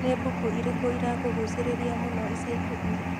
Nĩ mbuku ĩrĩkũ ĩrakũgucĩrĩirie mũno ica ikuhĩ?